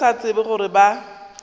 ba sa tsebe gore ba